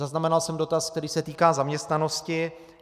Zaznamenal jsem dotaz, který se týká zaměstnanosti.